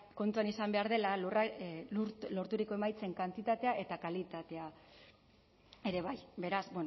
kontuan izan behar dela lorturiko emaitzen kantitatea eta kalitatea ere bai beraz